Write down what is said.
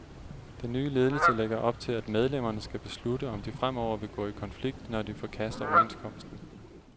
Den nye ledelse lægger op til, at medlemmerne skal beslutte, om de fremover vil gå i konflikt, når de forkaster overenskomsten.